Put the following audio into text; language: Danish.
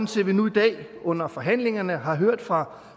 til at vi nu i dag under forhandlingerne har hørt fra